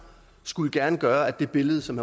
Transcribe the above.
skulle det gerne gøre at det billede som